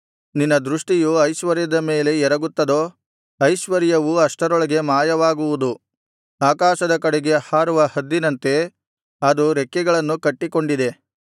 ನಿನ್ನ ದೃಷ್ಟಿಯು ಐಶ್ವರ್ಯದ ಮೇಲೆ ಎರಗುತ್ತದೋ ಐಶ್ವರ್ಯವು ಅಷ್ಟರೊಳಗೆ ಮಾಯವಾಗುವುದು ಆಕಾಶದ ಕಡೆಗೆ ಹಾರುವ ಹದ್ದಿನಂತೆ ಅದು ರೆಕ್ಕೆಗಳನ್ನು ಕಟ್ಟಿಕೊಂಡಿದೆ